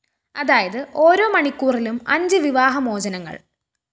അതായത് ഓരോ മണിക്കൂറിലും അഞ്ച് വിവാഹമോചനങ്ങള്‍